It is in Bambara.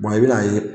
i bɛn'a ye